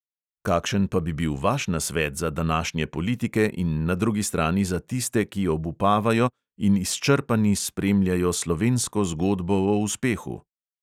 Kakšen pa bi bil vaš nasvet za današnje politike in na drugi strani za tiste, ki obupavajo in izčrpani spremljajo slovensko zgodbo o uspehu?